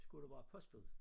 Skulle du være postbud